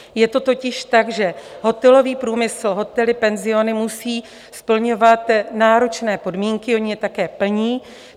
Je to totiž tak, že hotelový průmysl, hotely, penziony musí splňovat náročné podmínky - oni je také plní.